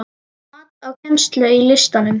Mat á kennslu í listum